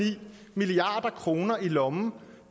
milliard kroner i lommen